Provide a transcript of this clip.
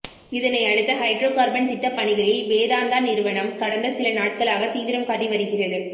இதனையடுத்து hydrocarbon திட்டப் பணிகளில் வேதாந்தா நிறுவனம் கடந்த சில நாட்களாக தீவிரம் காட்டி வருகிறது